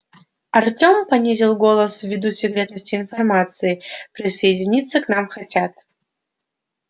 артём понизил голос ввиду секретности информации присоединяться к нам хотят